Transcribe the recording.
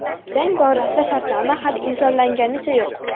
Jang borasida shartnoma hali imzolanganicha yo‘q.